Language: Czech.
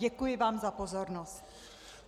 Děkuji vám za pozornost.